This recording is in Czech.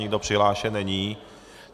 Nikdo přihlášen není.